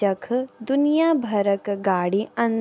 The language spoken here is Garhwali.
जख दुनिया भरक गाडी अन --